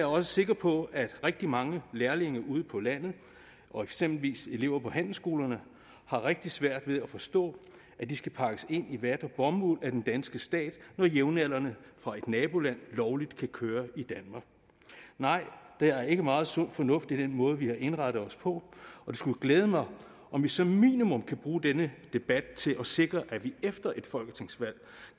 også sikker på at rigtig mange lærlinge ude på landet og eksempelvis elever på handelsskolerne har rigtig svært ved at forstå at de skal pakkes ind i vat og bomuld af den danske stat når jævnaldrende fra et naboland lovligt kan køre i danmark nej der er ikke meget sund fornuft i den måde vi har indrettet os på og det skulle glæde mig om vi som minimum kan bruge denne debat til at sikre at vi efter et folketingsvalg